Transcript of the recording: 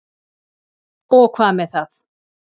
Og hvað með það?